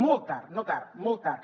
molt tard no tard molt tard